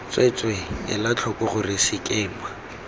tsweetswee ela tlhoko gore sekema